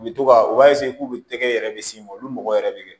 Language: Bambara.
U bɛ to ka u b'a k'u bɛ tɛgɛ yɛrɛ bɛ s'i ma olu mɔgɔ yɛrɛ bɛ kɛ